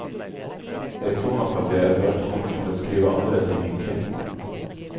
Jeg tror nok at jeg etterhvert kommer til å skrive andre ting enn krim.